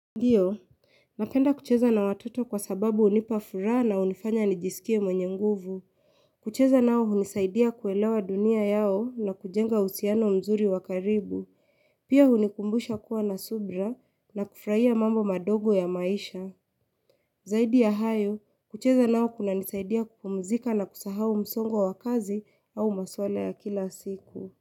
Ndiyo, napenda kucheza na watoto kwa sababu unipafuraa na unifanya nijisikie mwenye nguvu. Kucheza nao unisaidia kuelewa dunia yao na kujenga usiano mzuri wakaribu. Pia hunikumbusha kuwa na subira na kufraia mambo madogo ya maisha. Zaidi ya hayo, kucheza nao kuna nisaidia kupumzika na kusahau msongwa wakazi au maswala ya kila siku.